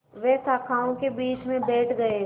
वे शाखाओं के बीच में बैठ गए